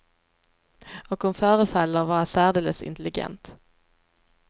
Och hon förefaller vara särdeles intelligent.